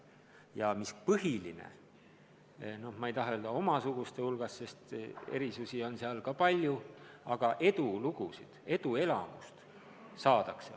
Ja mis põhiline: noh, ma ei taha öelda, et omasuguste hulgas, sest erisusi on seal ka palju, aga edulugusid, eduelamust saadakse neis koolides rohkem.